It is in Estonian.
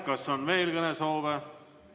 Kas on veel kõnesoove?